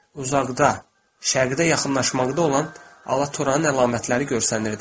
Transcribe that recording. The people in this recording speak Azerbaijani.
Uzaqda şərqdə yaxınlaşmaqda olan alatoranın əlamətləri görsənirdi.